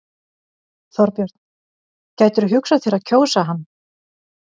Þorbjörn: Gætirðu hugsað þér að kjósa hann?